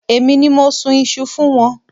Èmi ni mo sun iṣu fún wọn.